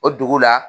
O dugu la